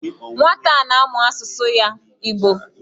Nwata a na-amu asusu ya, Igbo